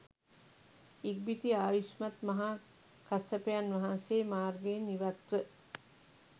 ඉක්බිති ආයුෂ්මත් මහා කස්සපයන් වහන්සේ මාර්ගයෙන් ඉවත් ව